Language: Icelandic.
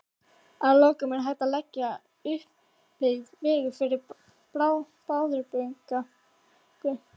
Að lokum: Er hægt að leggja uppbyggðan veg yfir Bárðarbungu?